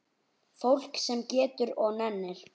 Fólk sem getur og nennir.